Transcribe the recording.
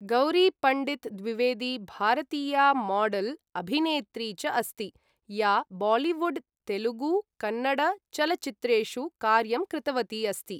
गौरी पण्डित द्विवेदी भारतीया मॉडल्, अभिनेत्री च अस्ति, या बालीवुड्, तेलुगु, कन्नड चलच्चित्रेषु कार्यं कृतवती अस्ति ।